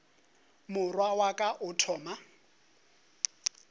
morwalo wa ka o thoma